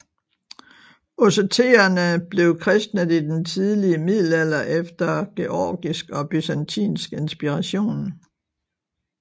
Osseterene blev kristnet i den tidlige middelalder efter georgisk og byzantinsk inspiration